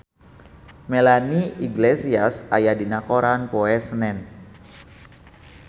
Melanie Iglesias aya dina koran poe Senen